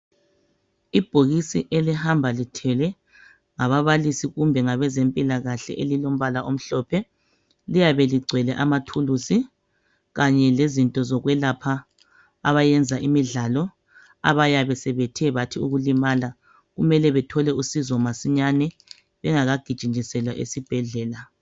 Ibhokisi elihamba lithwelwe ngababalisi kumbe abezempilakahle elilombala omhlophe. Liyabe ligcwele amathulusi kanye lezinto zokwelapha abayenza imidlalo. Abayabe sebethe bathi ukulimala kumele bathole usizo masinyane bengakagijinyiselwa esibhedlela.